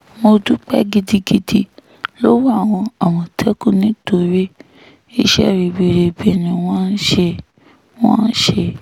mo dúpẹ́ gidi lọ́wọ́ àwọn àmọ̀tẹ́kùn nítorí iṣẹ́ ribiribi ni wọ́n ṣe wọ́n ṣe